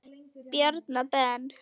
bjarna ben?